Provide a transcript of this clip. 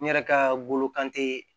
N yɛrɛ ka bolo kan te